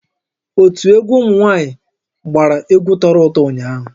Ótú egwu ụmụnwaanyị gbàrà egwu tọrọ ụtọ ụnyaahụ